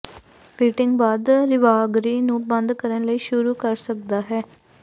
fitting ਬਾਅਦ ਰਾਿਵਗਰੀ ਨੂੰ ਬੰਦ ਕਰਨ ਲਈ ਸ਼ੁਰੂ ਕਰ ਸਕਦਾ ਹੈ